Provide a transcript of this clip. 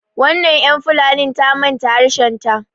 wannan yan fulanin ta manta harshenta